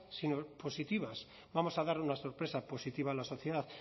sino positivas vamos a dar una sorpresa positiva a la sociedad